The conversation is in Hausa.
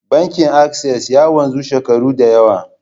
Bankin Access ya wanzu shekaru da yawa.